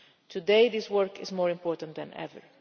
divide. Today this work is more important than